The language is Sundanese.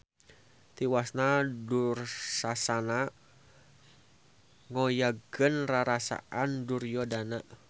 Tiwasna Dursasana ngoyagkeun rarasaan Duryodana.